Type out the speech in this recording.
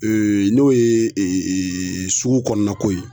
n'o ye sugu kɔnɔna ko ye